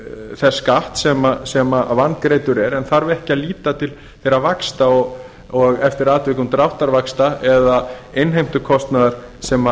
þess skatts sem vangreiddur er getur dómari lagt það til grundvallar en þarf ekki að líta til þeirra vaxta og eftir atvikum dráttarvaxta eða innheimtukostnaðar sem